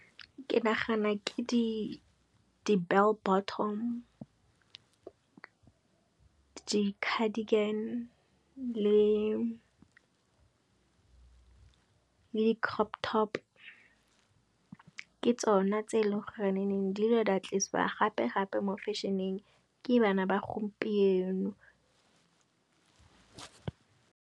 heKe nagana ke di bell bottom, di cardigan le di crop top. Ke tsona tse eleng gore di ile di a tlisiwa gape mo fešheneng ke bana ba gompieno.